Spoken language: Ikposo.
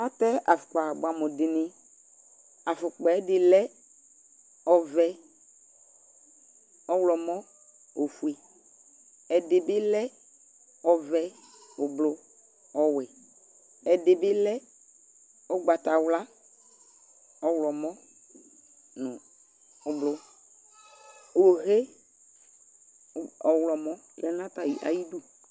Atɛ afʋkpa bʋɛ amʋ dιnι, afʋkpa yɛ ɛdι lɛ ɔɔvɛ, ɔwlɔmɔ nʋ oofue, ɛdι bι lɛ ɔɔvɛ, ʋblʋ,ɔɔwɛ, ɛdι bι lɛ ʋgbatawla, ɔwlɔmɔ nʋ ʋblʋ Hohe ɔɔvɛ, ɔwlɔmɔ ya nʋ atamι ayι idu